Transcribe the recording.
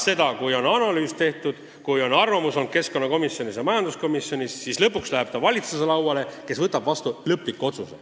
Ja kui on analüüs tehtud ning arvamus keskkonnakomisjonis ja majanduskomisjonis antud, siis läheb asi valitsuse lauale, kes võtab vastu lõpliku otsuse.